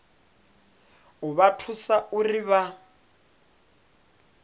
u vha thusa uri vha